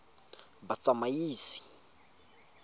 batsamaisi